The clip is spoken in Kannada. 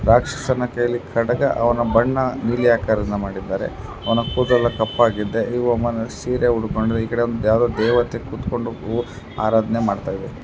ಬಾಕ್ಸ್ ಸಮೇತ ಇಲ್ಲಿ ಖಡ್ಗ ಅವನ ಬಣ್ಣ ನೀಲಿ ಆಕಾರದಿಂದ ಮಾಡಿದ್ದಾರೆ ಅವನ ಕೂದಲು ಕಪ್ಪಾಗಿದೆ ಈ ವಮ್ಮನ ಸೀರೆ ಉಡಕೊಂಡ್ರೆ ಈಕಡೆ ಯಾವದೋ ದೇವತೆ ಕೂತಕೊಂಡು ಆರಾದ್ನೆ ಮಾಡತ್ತಿದಾಳೆ.